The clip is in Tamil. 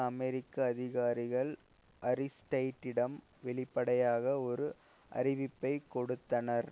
அமெரிக்க அதிகாரிகள் அரிஸ்டைட்டிடம் வெளிப்படையாக ஒரு அறிவிப்பை கொடுத்தனர்